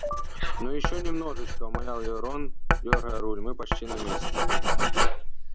ну ещё немножечко умолял её рон дёргая руль мы почти на месте